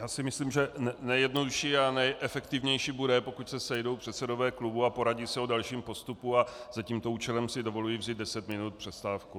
Já si myslím, že nejjednodušší a nejefektivnější bude, pokud se sejdou předsedové klubů a poradí se o dalším postupu, a za tímto účelem si dovoluji vzít deset minut přestávku.